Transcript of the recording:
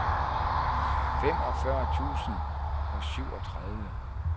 femogfyrre tusind og syvogtredive